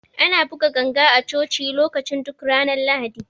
Ana buga ganga a Coci lokacin duk ranar Lahadi.